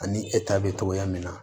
Ani e ta bɛ cogoya min na